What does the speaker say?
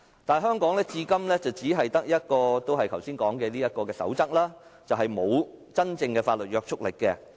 但是，香港至今只有剛才說的《公開資料守則》，而該守則並沒有法律約束力。